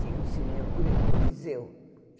Tinha um cinema, Coli Coliseu.